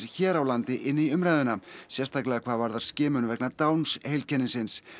hér á landi inn í umræðuna sérstaklega hvað varðar skimun vegna Downs heilkennisins